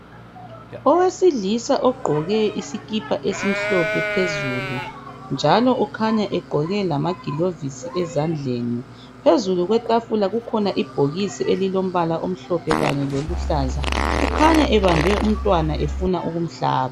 Owesilisa ogqoke isikipa esimhlophe phezulu, njalo ukhanya egqoke lamagilovisi ezandleni. Phezulu kwetafula kukhona ibhokisi elilombala omhlophe kanye loluhlaza , ukhanya ebambe umntwana efuna ukumhlaba.